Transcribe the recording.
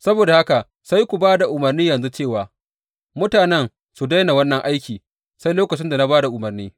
Saboda haka sai ku ba da umarni yanzu cewa mutanen su daina wannan aiki sai lokacin da na ba da umarni.